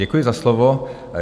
Děkuji za slovo.